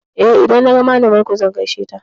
Eh, idan naga malamar ku zan gaishe da ita.